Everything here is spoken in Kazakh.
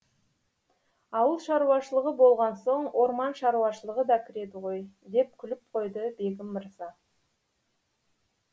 ауыл шаруашылығы болған соң орман шаруашылығы да кіреді ғой деп күліп қойды бегім мырза